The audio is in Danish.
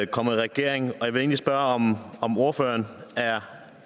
kommet i regering og jeg vil spørge om ordføreren er